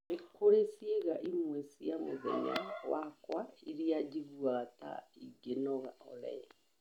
Nĩ kũrĩ ciĩga imwe cia mũthenya wakwa iria njiguaga ta ngĩnoga Olly